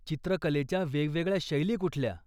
चित्रकलेच्या वेगवेगळ्या शैली कुठल्या?